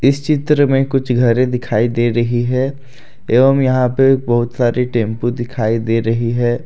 इस चित्र में कुछ घरें दिखाई दे रही है एवं यहां पे बहुत सारी टेंपो दिखाई दे रही है।